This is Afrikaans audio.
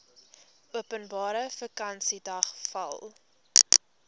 openbare vakansiedag val